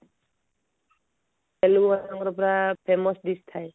ତାମିଲନାଡୁରେ ପୁରା famous dish ଥାଏ